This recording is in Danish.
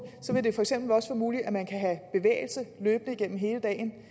vil det for eksempel også være muligt at man løbende gennem hele dagen